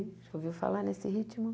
Já ouviu falar nesse ritmo?